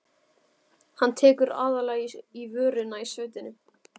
Hann tekur aðallega í vörina í sveitinni.